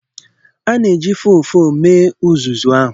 A na-eji ụfụfụ mee uzuzu ahụ.